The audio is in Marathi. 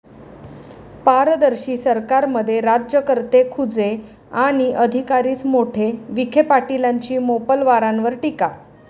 पारदर्शी सरकारमध्ये राज्यकर्ते खुजे आणि अधिकारीच मोठे', विखेपाटीलांची मोपलवारांवर टीका